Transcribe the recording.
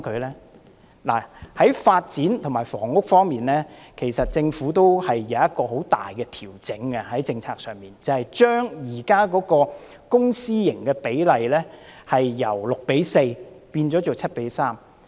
在發展和房屋方面，其實政府在政策上有很大的調整，那便是將現時的公私營房屋比例由 6：4 變成 7：3。